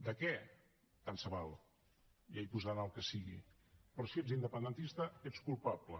de què tant se val ja hi posaran el que sigui però si ets independentista ets culpable